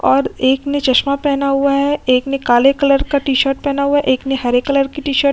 और एक ने चश्मा पहना हुआ है। एक ने काले कलर का टी-शर्ट पहना हुआ है। एक ने हरे कलर की टी-शर्ट --